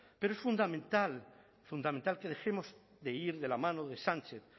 pero es fundamental fundamental que dejemos de ir de la mano de sánchez